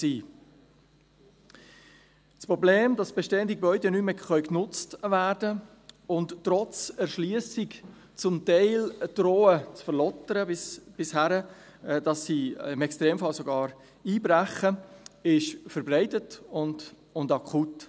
Das Problem, dass bestehende Gebäude nicht mehr genutzt werden können und trotz Erschliessung zum Teil zu verlottern drohen, bis sie im Extremfall sogar einbrechen, ist verbreitet und akut.